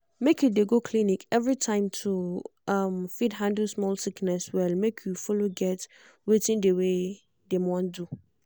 make you de go clinic every time to um fit handle small sickness well make you follow get wetin de wey dem want do. um